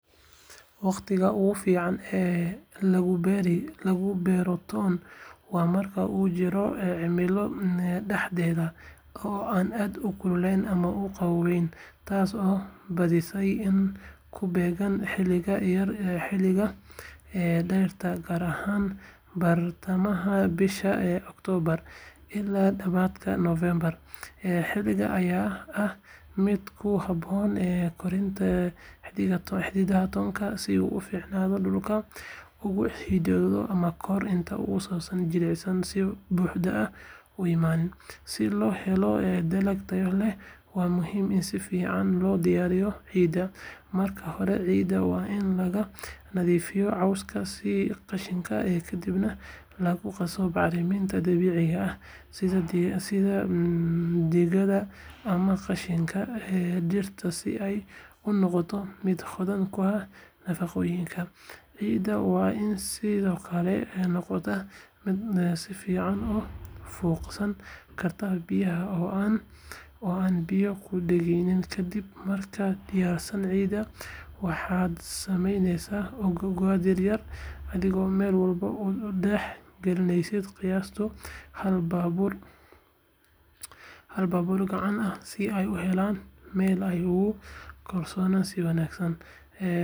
Wakhtiga ugu fiican ee lagu beero toon waa marka uu jiro cimilo dhexdhexaad ah oo aan aad u kululayn ama u qabownayn, taas oo badiyaa ku beegan xilliga dayrta, gaar ahaan bartamaha bisha Oktoobar ilaa dabayaaqada Noofembar. Xilligan ayaa ah mid ku habboon koritaanka xididka toonta si uu si fiican dhulka uga xidido ka hor inta uusan jiilaalku si buuxda u imaanin. Si loo helo dalag tayo leh, waa muhiim in si fiican loo diyaariyo ciidda. Marka hore, ciidda waa in laga nadiifiyaa cawska iyo qashinka, kadibna lagu qasaa bacriminta dabiiciga ah sida digada ama qashinka dhirta si ay u noqoto mid hodan ku ah nafaqooyinka. Ciidda waa in sidoo kale noqotaa mid si fiican u fuuqsan karta biyaha oo aan biyo ku dhegaynin. Kadib markaad diyaarsato ciidda, waxaad samaysaa godad yaryar, adigoo meel walba u dhex dhigaya qiyaastii hal baabuur gacan ah si ay u helaan meel ay ugu koraan si wanaagsan. Toonta waa in aad ka kala dhigtaa googo' yaryar, adigoo mid walba madaxa u jeedinaya korka markaad dhulka gelinayso. Marka la dhammeeyo, si tartiib ah ayaa loo waraabiyaa si aysan biyuhu u sabbaynin toonta. Qorraxda oo si fiican u gaarta goobta beeritaanka ayaa muhiim ah si toonku u baxo si caafimaad qaba.